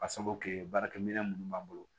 Ka sabu kɛ baarakɛ minɛn munnu b'an bolo